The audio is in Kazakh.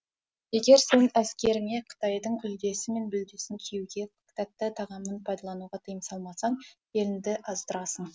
егер сен әскеріңе қытайдың үлдесі мен бүлдесін киюге тәтті тағамын пайдалануға тыйым салмасаң еліңді аздырасың